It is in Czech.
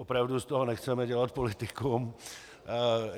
Opravdu z toho nechceme dělat politikum.